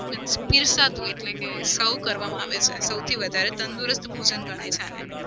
પીરસાતું એટલે કે serve કરવામાં આવે છે. સૌથી વધારે તંદુરસ્ત ભોજન ગણાય છે આને.